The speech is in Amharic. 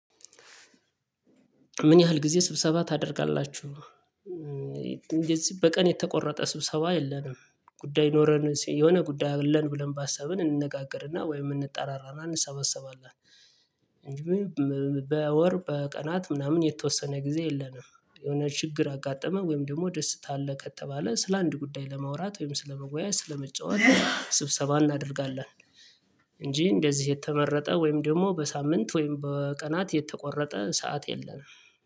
ምን ያህል ጊዜ ስብሰባ ታደርጋላችሁ? እንደዚህ በቀን የተቆረጠ ስብሰባ የለንም ጉዳይ ኖረን የሆነ ጉዳይ አለን ብለን ባሰብን እንነጋገርና ወይም እንጠራራና እንሰበሰባለን። እንጂ በወር በቀናት ምናምን የተወሰነ ጊዜ የለንም። የሆነ ችግር አጋጠመ ወይም ደግሞ ደስታ አለ ከተባለ ስለ አንድ ጉዳይ ለማውራት ወይም ስለመወያየት ስለመጫወት ስብሰባ እናደርጋለን። እንጂ እንደዚህ የተመረጠ ወይም ደግሞ በሳምንት ወይም በቀናት የተቆረጠ ሰዓት የለንም